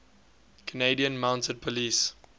canadian mounted police